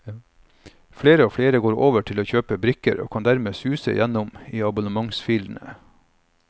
Flere og flere går over til å kjøpe brikker, og kan dermed suse gjennom i abonnementsfilene.